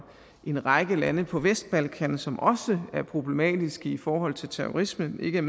en række lande på vestbalkan som også er problematiske i forhold til terrorisme ikke er